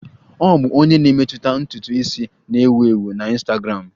Ọ bụ onye na-emetụta ntutu isi na-ewu ewu na Ịnstagramụ